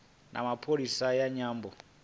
na pholisi ya nyambo